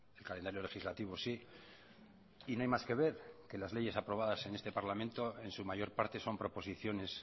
el calendario legislativo sí y no hay más que ver que las leyes aprobadas en este parlamento en su mayor parte son proposiciones